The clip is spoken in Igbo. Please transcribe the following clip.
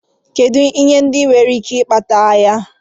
Kedụ ihe ndị nwere ike ikpata agha.